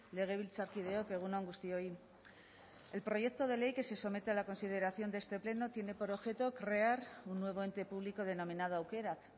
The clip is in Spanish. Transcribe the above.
legebiltzarkideok egun on guztioi el proyecto de ley que se somete a la consideración de este pleno tiene por objeto crear un nuevo ente público denominado aukerak